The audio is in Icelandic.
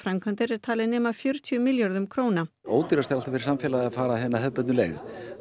framkvæmdir er talinn nema um fjörutíu milljörðum króna ódýrast er fyrir samfélagið er að fara hina hefðbundnu leið